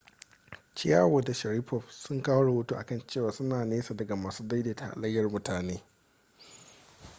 chiao da sharipov sun kawo rahoto a kan cewa suna nesa daga masu daidaita halayyar mutane